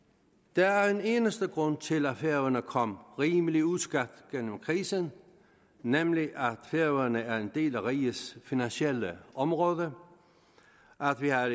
der er en eneste grund til at færøerne er kommet rimelig uskadt gennem krisen nemlig at færøerne er en del af rigets finansielle område at vi har